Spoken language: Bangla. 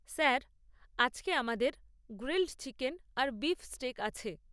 স্যার, আজকে আমাদের গ্রিল্ড চিকেন আর বিফ স্টেক আছে।